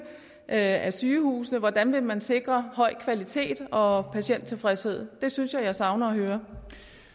af sygehusene hvordan vil man sikre høj kvalitet og patienttilfredshed det synes jeg jeg savner at høre